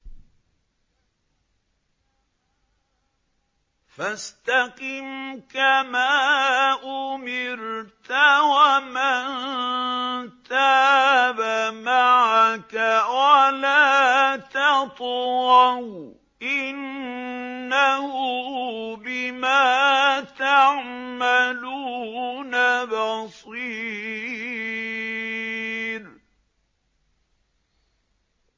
فَاسْتَقِمْ كَمَا أُمِرْتَ وَمَن تَابَ مَعَكَ وَلَا تَطْغَوْا ۚ إِنَّهُ بِمَا تَعْمَلُونَ بَصِيرٌ